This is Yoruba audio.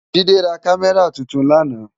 Jide rá Kàmèrá tútún làná